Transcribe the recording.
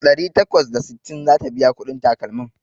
Ɗari takwas da sittin zata biya kuɗin takalmin